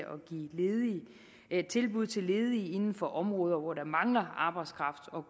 at give tilbud til ledige inden for områder hvor der mangler arbejdskraft og